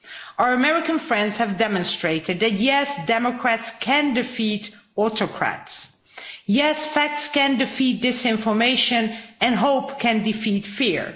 Our American friends have demonstrated that yes, democrats can defeat autocrats, yes, facts can defeat disinformation, and hope can defeat fear.